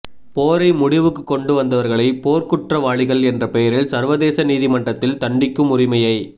போரை முடிவுக்கு கொண்டு வந்தவர்களை போர்க்குற்றவாளிகள் என்ற பெயரில் சர்வதேச நீதிமன்றத்தில் தண்டிக்கும் உரிமையை